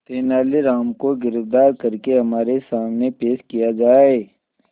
तेनालीराम को गिरफ्तार करके हमारे सामने पेश किया जाए